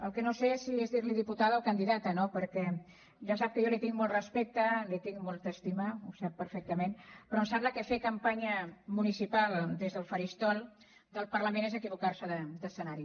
el que no sé és si dirli diputada o candidata no perquè ja sap que jo li tinc molt respecte li tinc molta estima ho sap perfectament però em sembla que fer campanya municipal des del faristol del parlament és equivocar se d’escenari